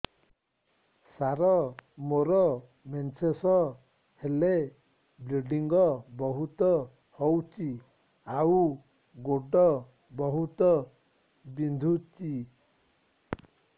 ସାର ମୋର ମେନ୍ସେସ ହେଲେ ବ୍ଲିଡ଼ିଙ୍ଗ ବହୁତ ହଉଚି ଆଉ ଗୋଡ ବହୁତ ବିନ୍ଧୁଚି